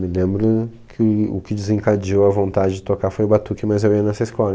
Me lembro que o que desencadeou a vontade de tocar foi o batuque, mas eu ia nessa escola.